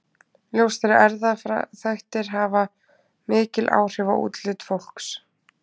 Ljóst er að erfðaþættir hafa mikil áhrif á útlit fólks.